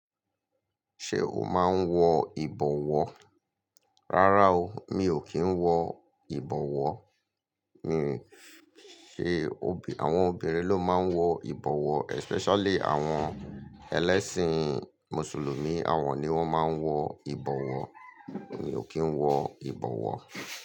Ṣé o máa ń wọ ìbọwọ́? Rárá o, mi ò kí ń wọ ìbọwọ́. Mi, ṣe obì, àwọn obìnrin ló máa ń wọ ìbọwọ́ especially àwọn ẹlẹ́sìn Mùsùlùmí, àwọn ni wọ́n máa ń wọ ìbọwọ́. Mi ò kí ń wọ ìbọwọ́.